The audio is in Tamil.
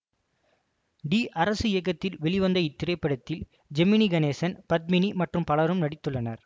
டி அரசு இயக்கத்தில் வெளிவந்த இத்திரைப்படத்தில் ஜெமினி கணேசன் பத்மினி மற்றும் பலரும் நடித்துள்ளனர்